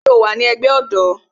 Ṣé o wa ní ẹgbẹ́ ọ̀dọ́?